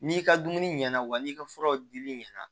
N'i ka dumuni ɲɛna wa n'i ka furaw dili ɲɛna